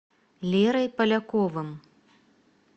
лерой поляковым